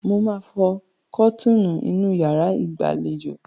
Mo máa fọ kọ́tíínì inú yàrá ìgbàlejò.